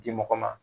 Di mɔgɔ ma